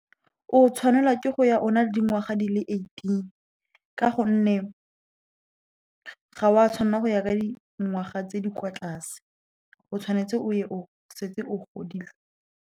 O tshwanelwa ke go ya o na le dingwaga di le eighteen, ka gonne ga o a tshwanela go ya ka dingwaga tse di kwa tlase. O tshwanetse o ye o setse o godile.